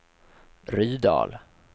Rydal